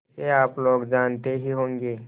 इसे आप लोग जानते ही होंगे